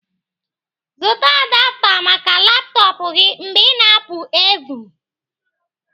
Zụta adapta maka laptọpụ gị mgbe ị na-apụ evhum